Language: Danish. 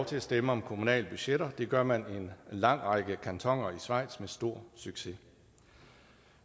til at stemme om kommunale budgetter det gør man i en lang række kantoner i schweiz med stor succes